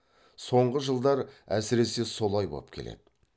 соңғы жылдар әсіресе солай боп келеді